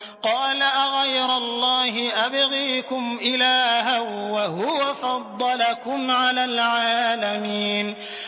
قَالَ أَغَيْرَ اللَّهِ أَبْغِيكُمْ إِلَٰهًا وَهُوَ فَضَّلَكُمْ عَلَى الْعَالَمِينَ